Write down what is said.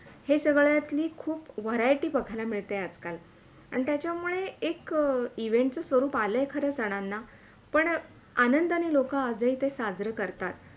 हे सगळ्यातली खूप variety बघायला मिळते आज - काल आणि त्याच्यामुळे एक Event च स्वरूप आलंय खरं सणांना पण आनंदाने आज ही लोक साजरे करतात.